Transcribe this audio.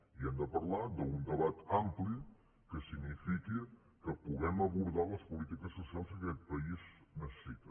i hem de parlar d’un debat ampli que signifiqui que puguem abordar les polítiques socials que aquest país necessita